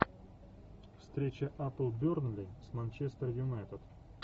встреча апл бернли с манчестер юнайтед